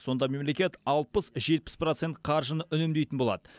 сонда мемлекет алпыс жетпіс процент қаржыны үнемдейтін болады